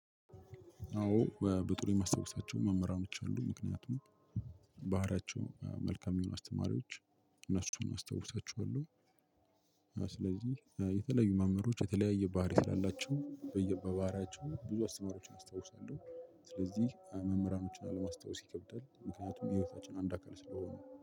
አዎ በብጥሩ የማስታወሳቸው መምህራኖች አሉ። ምክንያቱም ባህሪያቸው መልካም የሆኑ አስተማሪዎች እነሱን አስታውሳቸዋለሁ። ስለዚህ የተለያዩ መምህሮች የተለያየ ባህሪይ ስላላቸው በየባህሪያቸው ብዙ አስተማሪዎችን አስታውሳለሁ። ስለዚህ መምህራኖችን ለማስታወስ ይከብዳል። ምክንያቱም የህይወታችን አንድ አካል ስለሆኑ።